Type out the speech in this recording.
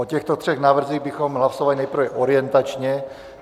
O těchto třech návrzích bychom hlasovali nejprve orientačně.